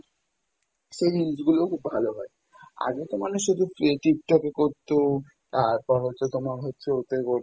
সেই reels গুলো খুব ভালো হয়, আগে তো মানুষ এগুলো Tiktok এ করতো, তারপর হচ্ছে তোমার হচ্ছে ওতে করতো